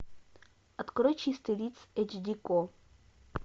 открой чистый лист эйч ди ко